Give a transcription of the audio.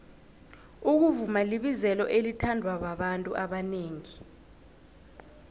ukuvuma libizelo elithandwa babantu abanengi